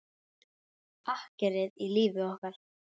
Akkerið í lífi okkar.